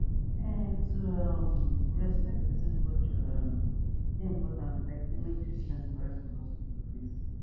um to um respect person culture um dey important like say make treatment correct for hospital place